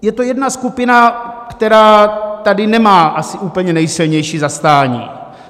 Je to jedna skupina, která tady nemá asi úplně nejsilnější zastání.